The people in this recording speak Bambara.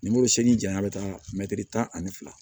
Nimoro se ni jaɲa be taa mɛtiri tan ani fila